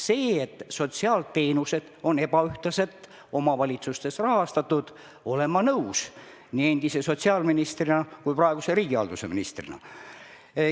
Sellega, et sotsiaalteenused on omavalitsustes ebaühtlaselt rahastatud, olen ma nõus – nii endise sotsiaalministrina kui ka praeguse riigihalduse ministrina.